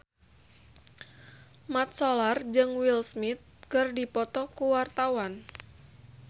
Mat Solar jeung Will Smith keur dipoto ku wartawan